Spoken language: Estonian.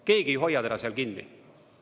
Keegi ei hoia teda seal kinni.